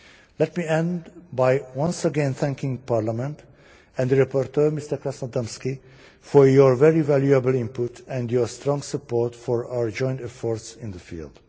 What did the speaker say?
Let me end by once again thanking Parliament and the rapporteur, Mr Krasnodębski, for your very valuable input and your strong support for our joint efforts in this field.